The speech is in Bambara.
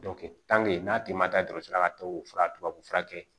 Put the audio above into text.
n'a tigi ma taa dɔgɔtɔrɔso la ka tubabufura tubabu fura kɛ